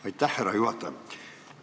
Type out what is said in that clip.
Aitäh, härra juhataja!